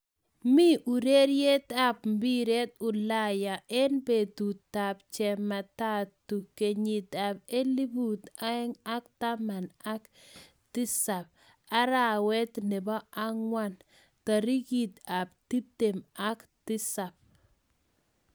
Mi urereyet ap mpiret Ulaya eng betut ab cheemataatu kenyit ab elput aeng ak taman ak tisat arawet nebo angwan tarikit ab tiptem ak tisab